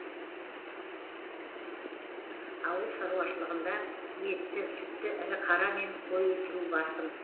ауыл шаруалшылығында етті сүтті ірі қара мен қой өсіру басым